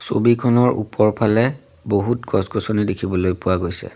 ছবিখনৰ ওপৰফালে বহুত গছ গছনি দেখিবলৈ পোৱা গৈছে।